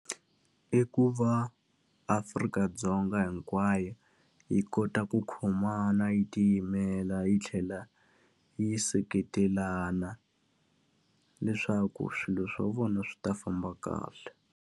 I ku va Afrika-Dzonga hinkwayo yi kota ku khomana, yi tiyimela yi tlhela yi seketelana, leswaku swilo swa vona swi ta famba kahle.